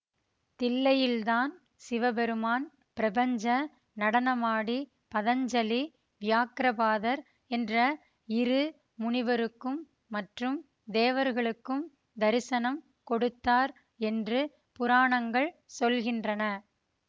தில்லையில்தான் சிவபெருமான் பிரபஞ்ச நடனமாடி பதஞ்சலி வியாக்கிரபாதர் என்ற இரு முனிவருக்கும் மற்றும் தேவர்களுக்கும் தரிசனம் கொடுத்தார் என்று புராணங்கள் சொல்கின்றன